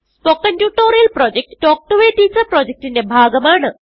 spoken tutorial project talk to a teacher പ്രൊജക്റ്റ്ന്റെ ഭാഗമാണ്